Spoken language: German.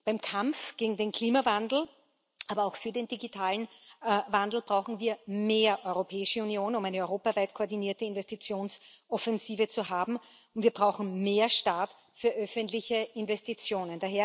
Beim Kampf gegen den Klimawandel, aber auch für den digitalen Wandel brauchen wir mehr Europäische Union, um eine europaweit koordinierte Investitionsoffensive zu haben, und wir brauchen mehr Staat für öffentliche Investitionen.